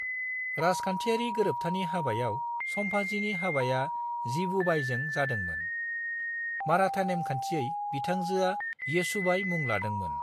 राजखान्थियारि गोरोबथानि हाबायाव संभाजीनि हाबाया जिवुबाईजों जादोंमोन; माराठा नेमखान्थियै बिथांजोआ येसुबाई मुं लादोंमोन।